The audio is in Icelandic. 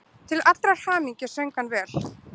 Til allrar hamingju söng hann vel!